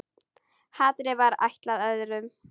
Hatrið var ætlað öðrum.